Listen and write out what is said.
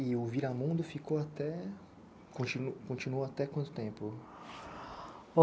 E o Viramundo ficou até... continu continuou até quanto tempo?